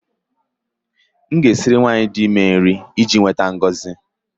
M ga-esiri nwanyị dị ime iji nweta ngọzi